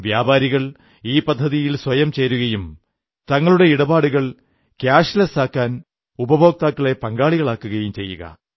വ്യാപാരികൾ ഈ പദ്ധതിയിൽ സ്വയം ചേരുകയും തങ്ങളുടെ ഇടപാടുകൾ ക്യാഷ്ലെസാക്കാൻ ഉപഭോക്താക്കളെ പങ്കാളികളാക്കുകയും ചെയ്യുക